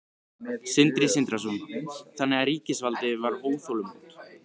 Sindri Sindrason: Þannig að ríkisvaldið var óþolinmótt?